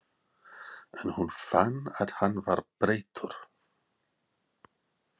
En hún fann að hann var breyttur.